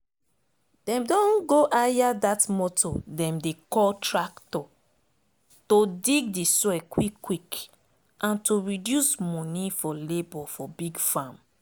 dem don go hire dat motor dem dey call tractor to dig de soil quick quick and to reduce moni for labor for big farm